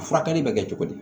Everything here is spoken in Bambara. A furakɛli bɛ kɛ cogo di